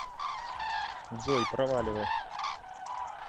джой проваливай